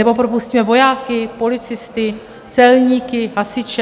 Nebo propustíme vojáky, policisty, celníky, hasiče?